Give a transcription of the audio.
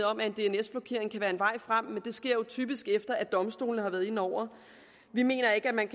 om at en dns blokering kan være en vej frem men det sker jo typisk efter at domstolene har været inde over vi mener ikke at man